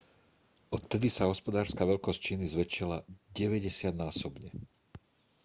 odvtedy sa hospodárska veľkosť číny zväčšila 90-násobne